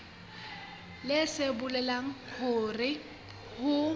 leng se bolelang hore ho